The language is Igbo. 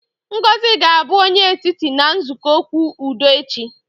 Ngozi ga-abụ onye etiti na nzukọ okwu udo echi